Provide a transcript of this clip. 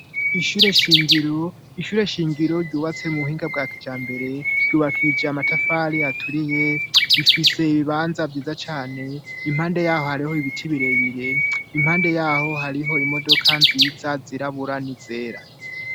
Gishure shingiro ryubatse mu buhinga bwa kija mbere ryubakije amatafari aturiye rifise ibibanza vyiza cane impande yaho hariho ibiti birebire impande yaho hariho imodoka nziza ziraburani zera.